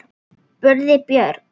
spurði Björg.